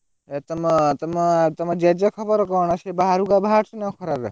ଏ ତମ ତମ ତମ ଜେଜେ ଖବର କଣ ସେ ବାହାରକୁ ଆଉ ବାହାରୁଛନ୍ତି ନା ଏ ଖରା ରେ?